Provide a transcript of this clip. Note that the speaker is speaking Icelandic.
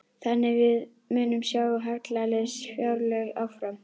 Þannig að við munum sjá hallalaus fjárlög áfram?